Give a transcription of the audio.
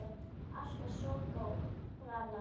Alltaf svo góð, hún Alla.